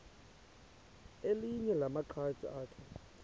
elinye lamaqhaji akhe